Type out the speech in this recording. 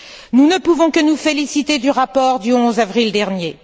Nous ne pouvons que nous féliciter du rapport du 11 avril dernier.